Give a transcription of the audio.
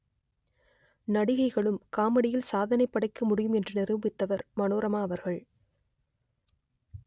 நடிகைகளும் காமெடியில் சாதனைப் படைக்க முடியும் என்று நிரூபித்தவர் மனோரமா அவர்கள்